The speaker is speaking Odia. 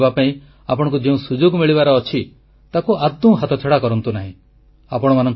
ଶ୍ରୀହରିକୋଟା ଯିବାପାଇଁ ଆପଣଙ୍କୁ ଯେଉଁ ସୁଯୋଗ ମିଳିବାର ଅଛି ତାକୁ ଆଦୌ ହାତଛଡ଼ା କରନ୍ତୁ ନାହିଁ